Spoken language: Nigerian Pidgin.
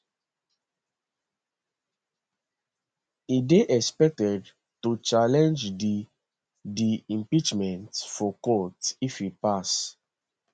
e dey expected to challenge di di impeachment for court if e pass